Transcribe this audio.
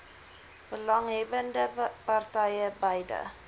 belanghebbbende partye beide